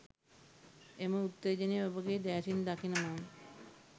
එම උත්තේජනය ඔබගේ දෑසින් දකින මම